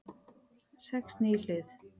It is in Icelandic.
Sex ný hlið